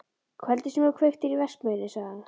Kvöldið sem þú kveiktir í verksmiðjunni sagði